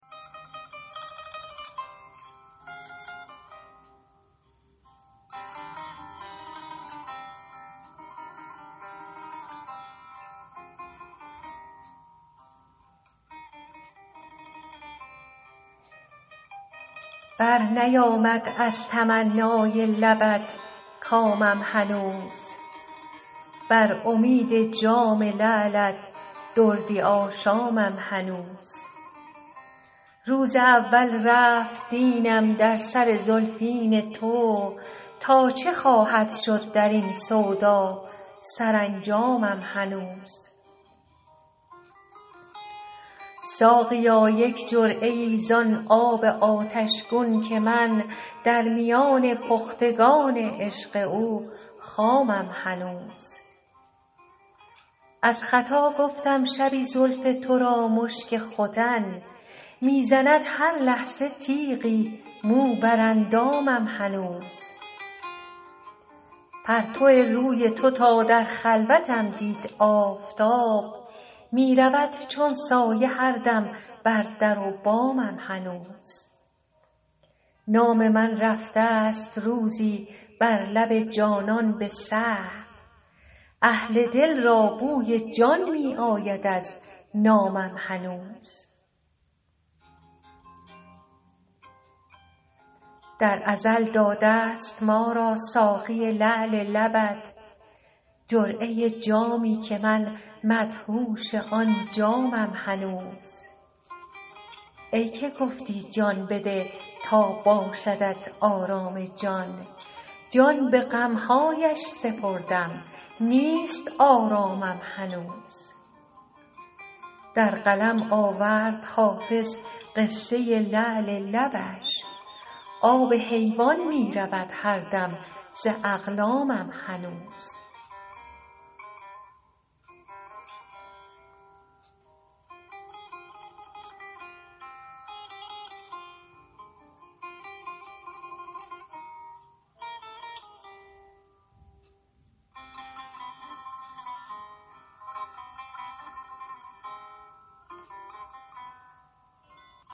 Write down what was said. برنیامد از تمنای لبت کامم هنوز بر امید جام لعلت دردی آشامم هنوز روز اول رفت دینم در سر زلفین تو تا چه خواهد شد در این سودا سرانجامم هنوز ساقیا یک جرعه ای زان آب آتش گون که من در میان پختگان عشق او خامم هنوز از خطا گفتم شبی زلف تو را مشک ختن می زند هر لحظه تیغی مو بر اندامم هنوز پرتو روی تو تا در خلوتم دید آفتاب می رود چون سایه هر دم بر در و بامم هنوز نام من رفته ست روزی بر لب جانان به سهو اهل دل را بوی جان می آید از نامم هنوز در ازل داده ست ما را ساقی لعل لبت جرعه جامی که من مدهوش آن جامم هنوز ای که گفتی جان بده تا باشدت آرام جان جان به غم هایش سپردم نیست آرامم هنوز در قلم آورد حافظ قصه لعل لبش آب حیوان می رود هر دم ز اقلامم هنوز